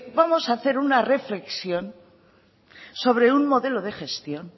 vamos a hacer una reflexión sobre un modelo de gestión